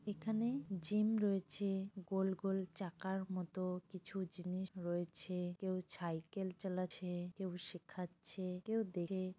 এখানে জিম রয়েছে। গোল গোল চাকার মতো কিছু জিনিস রয়েছে। কেউ ছাইকেল চালাচ্ছে। কেউ শেখাচ্ছে। কেউ দেখে--